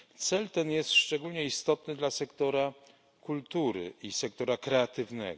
Cel ten jest szczególnie istotny dla sektora kultury i sektora kreatywnego.